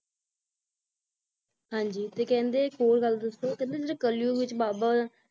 ਹਾਂਜੀ ਤੇ ਕਹਿੰਦੇ ਤੇ ਇੱਕ ਹੋਰ ਗੱਲ ਦੱਸੋ ਕਹਿੰਦੇ ਜਿਹੜੇ ਕਲਯੁੱਗ ਵਿੱਚ ਬਾਬਾ